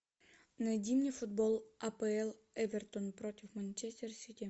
найди мне футбол апл эвертон против манчестер сити